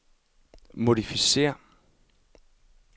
modificér